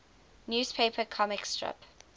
newspaper comic strip